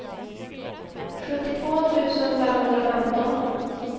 sjuttiotvå tusen femhundrafemton